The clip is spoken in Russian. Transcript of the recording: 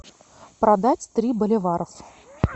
продать три боливара